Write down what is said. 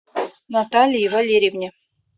наталии валерьевне